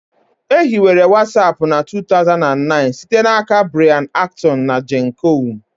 E hiwere Watsapụ na 2009 site n'aka Brian Acton na Jan koum